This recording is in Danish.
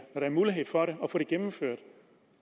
for at få det gennemført